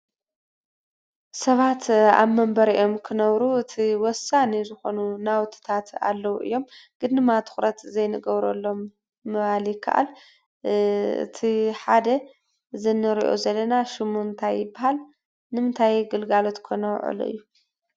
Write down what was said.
ሰባት ኣብ መንበሪኦም ክነብሩ እቲ ወሳኒ ዝኾኑ ናውትታት ኣለዉ እዮም፡፡ ግን ድማ ትኹረት ዘይንገብረሎም ምባል ይከኣል፡፡ እቲ ሓደ እዚ እንሪኦ ዘለና ሽሙ እንታይ ይበሃል? ንምንታይ ግልጋሎት ከ ነውዕሎ እዩ?